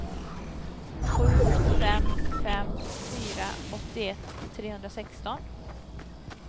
sju fem fem fyra åttioett trehundrasexton